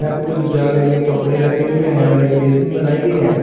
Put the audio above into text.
यहां पे कुछ जग में कपड़े रखे हुए हैं और एक बेसिन बनाई गई है।